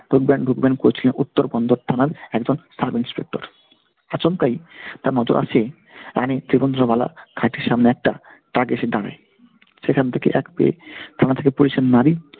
ঢুকবেন উত্তর থানার একজন sub INSPECTOR । আচমকাই তার নজর আসে রানী মালা খাটের সামনে একটা ট্রাক এসে দাঁড়ায়। সেখান থেকে এক থানা থেকে police